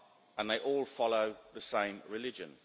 and they all follow the same religion.